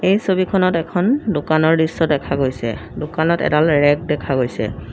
এই ছবিখনত এখন দোকানৰ দৃশ্য দেখা গৈছে দোকানত এডাল ৰেক দেখা গৈছে।